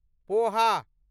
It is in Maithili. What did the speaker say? पोहा